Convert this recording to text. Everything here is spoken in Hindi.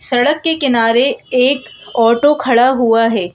सड़क के किनारे एक ऑटो खड़ा हुआ है।